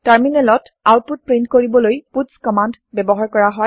টাৰমিনেলত output print কৰিবলৈ puts command ব্যৱহাৰ কৰা হয়